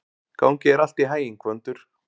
Gangi þér allt í haginn, Gvöndur.